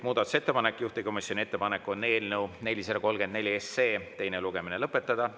Juhtivkomisjoni ettepanek on eelnõu 434 teine lugemine lõpetada.